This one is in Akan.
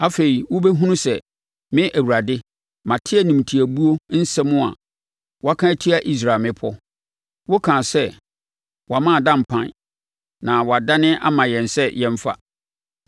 Afei, wobɛhunu sɛ me Awurade, mate animtiabuo nsɛm a woaka atia Israel mmepɔ. Wokaa sɛ, “Wɔama ada mpan na wɔadane ama yɛn sɛ yɛmfa.”